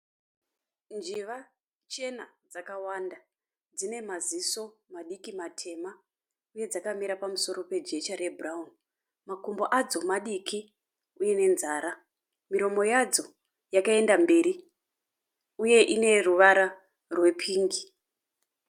Njiva chena dzakawanda dzine maziso madiki matema uye dzakamira pamusoro pe jecha re bhurauni. Makumbo adzo madiki uye nenzara . Miromo yadzo yakaenda mberi uye ine ruvara rwe pingi.